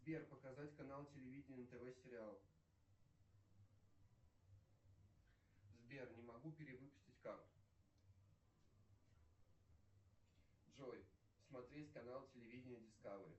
сбер показать канал телевидения нтв сериал сбер не могу перевыпустить карту джой смотреть канал телевидения дискавери